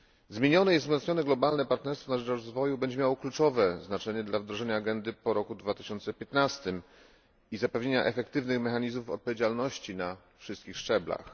Zmienione i wzmocnione globalne partnerstwo na rzecz rozwoju będzie miało kluczowe znaczenie dla wdrożenia agendy po roku 2015 i zapewnienia efektywnych mechanizmów odpowiedzialności na wszystkich szczeblach.